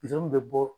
bɛ bɔ